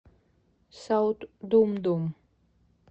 саут думдум